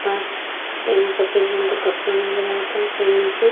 पास एमे सफ़ेद रंग के कपड़ा नजर आवता ओकरा नीचे।